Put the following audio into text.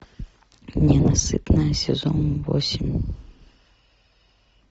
ненасытная сезон восемь